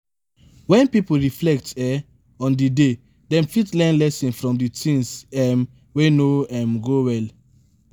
when pipo reflect um on di day dem fit learn lesson from di things um wey no um go well